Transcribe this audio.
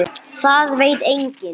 Það veit enginn.